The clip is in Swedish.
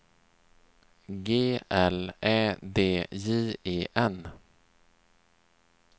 G L Ä D J E N